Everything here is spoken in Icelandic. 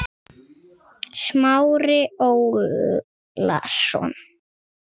Smári Ólason.